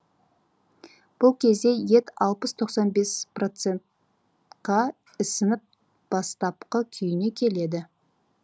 бұл кезде ет алпыс тоқсан бес процентқа ісініп бастапқы күйіне келеді